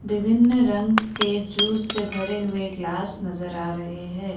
विभिन्न रंग के जूस से भरे हुए गिलास नजर आ रहे हैं ।